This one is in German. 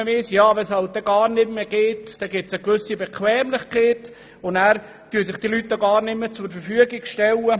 Das Wissen um diesen Kredit führt zu einer Bequemlichkeit, dann stellen sich die Leute gar nicht mehr zur Verfügung, und man findet sie weniger.